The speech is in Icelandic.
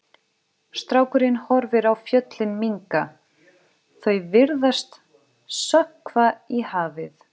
Strákurinn horfir á fjöllin minnka, þau virðast sökkva í hafið.